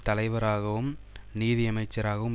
தலைவராகவும் நிதியமைச்சராகவும்